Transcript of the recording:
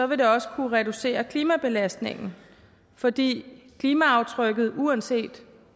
vil det også kunne reducere klimabelastningen fordi klimaaftrykket uanset